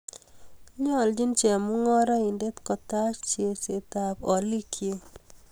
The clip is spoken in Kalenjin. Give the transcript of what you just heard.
Nyoljin chemungarainet kotaach cherseetab olikyik